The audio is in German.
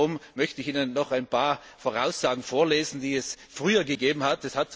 Darum möchte ich Ihnen noch ein paar Voraussagen vorlesen, die es früher gegeben hat.